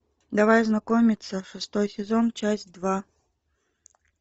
давай знакомиться шестой сезон часть два